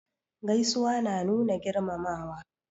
Gaisuwa na nuna girmamawa.